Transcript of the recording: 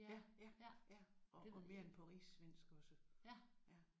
Ja ja ja og og mere end på rigssvensk også ja